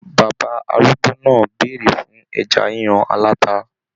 Bàbá arúgbó náà bèrè fún ẹja yíyan alata.